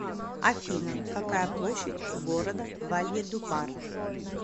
афина какая площадь у города вальедупар